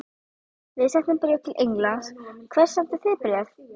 Við sendum bréf til Englands. Hvert sendið þið bréf?